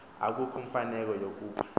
akukho mfuneko yokuba